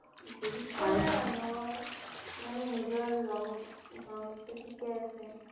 গুৰুত্ব নাই মানুহৰ মানে নিজৰ ৰং-ধং তো ঠিকেই আছে